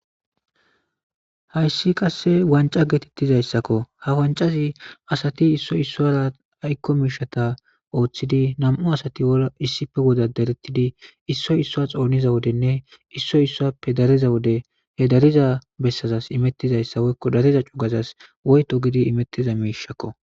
Hayssi qassi wancca geetheththizayssakoo; ha wanccay asathi issoy issuwaara aykko miishshatha ooseththidi nam7u asathi issippe wodaaddareththidi issoy issuwa xoonizo wozenne issay issuwaappe dariza wode geeddariza bessazas imeththizayssa woykko dariza izas woyto gidi imeththiza miishshakoo.